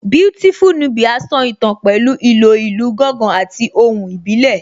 Beautiful Nubia so ìtàn pẹ̀lú ìlò ìlù gángan àti ohùn ìbílẹ̀